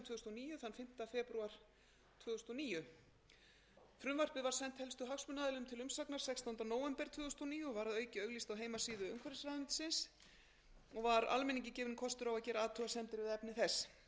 og níu og var að auki auglýst á heimasíðu umhverfisráðuneytisins og var almenningi gefinn kostur á að gera athugasemdir við efni þess voru